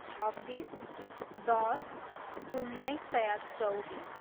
छब्बिस, दस, उन्नाइस सय चौबिस